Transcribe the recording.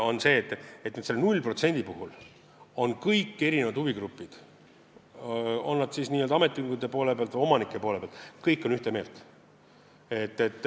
Aga seepärast, et selle 0% osas on kõik huvigrupid – on nad siis ametiühingute poole pealt või omanike poole pealt – ühte meelt.